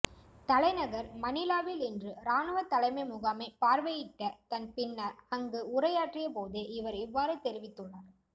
தலைநகர் மணிலாவில் இன்று இராணுவ தலைமை முகாமை பார்வையிட்ட தன் பின்னர் அங்கு உரையாற்றிய போதே இவர் இவ்வாறு தெரிவித்துள்ளார்